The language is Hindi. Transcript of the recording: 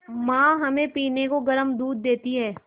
माँ हमें पीने को गर्म दूध देती हैं